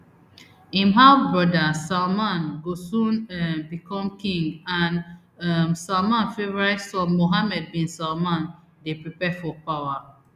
im halfbrother salman go soon um become king and um salman favourite son mohammed bin salman dey prepare for power